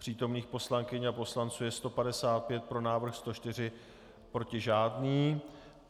Přítomných poslankyň a poslanců je 155, pro návrh 104, proti žádný.